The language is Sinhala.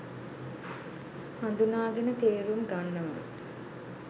හඳුනාගෙන තේරුම් ගන්නවා.